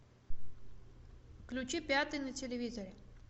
включи пятый на телевизоре